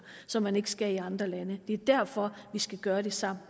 som man ikke skal komme med i andre lande det er derfor vi skal gøre det sammen